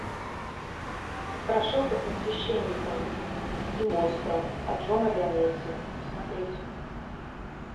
страшилка со священником и монстром от джона леонетти смотреть